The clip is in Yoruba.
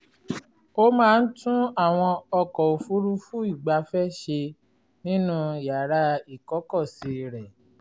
ó máa ń tún àwọn ọkọ̀ òfuurufú ìgbafẹ́ ṣe nínú yàrá ìkọ́kọ̀sí rẹ̀